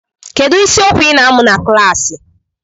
Kedu isiokwu ị na-amụ na klaasị?